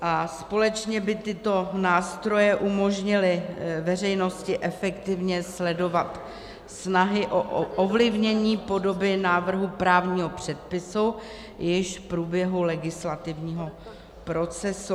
A společně by tyto nástroje umožnily veřejnosti efektivně sledovat snahy o ovlivnění podoby návrhu právního předpisu již v průběhu legislativního procesu.